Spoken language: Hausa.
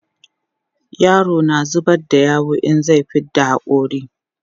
yaro na zubar da yawu in zai fidda hakori